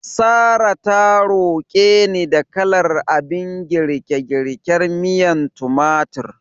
Sarrah ta roke ni da kalar abin girke-girken miyar tumatir.